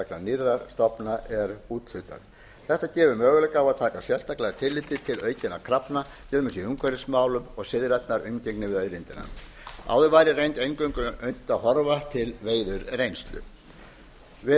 vegna nýrra stofna er úthlutað þetta gefur möguleika á að taka sérstaklega tillit til aukinna krafna í umhverfismálum og siðrænnar umgengni við auðlindina áður var eingöngu unnt að horfa til veiðireynslu við